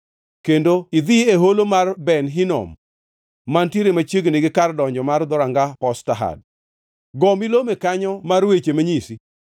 kendo idhi e Holo mar Ben Hinom, mantiere machiegni gi kar donjo mar Dhoranga Potshad. Go milome kanyo mar weche manyisi,